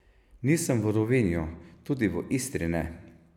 Nisem v Rovinju, tudi v Istri ne.